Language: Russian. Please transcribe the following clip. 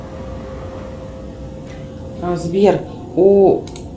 сбер у